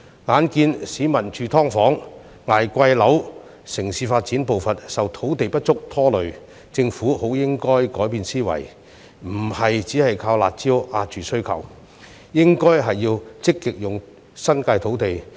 眼見市民要住"劏房"、捱貴樓、城市發展步伐受土地不足拖累，政府理應改變思維，不能只靠"辣招"遏抑需求，而應積極善用新界土地。